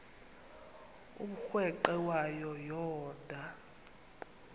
umrweqe wayo yoonda